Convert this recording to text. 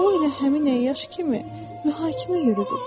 O elə həmin əyyaş kimi mühakimə yürüdü.